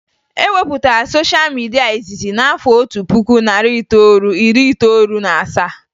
E wepụtara sosha midia izizi n'afọ otu puku, narị itoolu, iri itoolu na asaa